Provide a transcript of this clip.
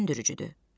Düşündürücüdür.